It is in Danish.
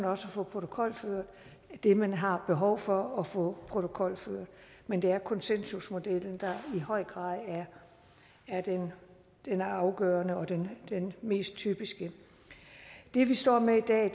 også få protokolført det man har behov for at få protokolført men det er konsensusmodellen der i høj grad er den afgørende og den mest typiske det vi står med i dag